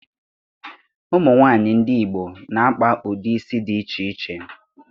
Ụmụ nwaanyị ndị Igbo na-akpa ụdị isi dị iche iche